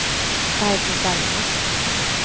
Barbro Bergman